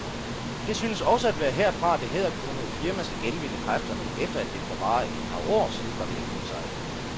Det synes også at være herfra, det hæderkronede firma skal genvinde kræfterne, efter at det for bare et par år siden var ved at kuldsejle.